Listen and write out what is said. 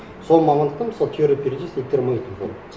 сол мамандықта мысалы теория